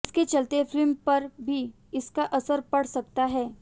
जिसके चलते फिल्म पर भी इसका असर पड़ सकता है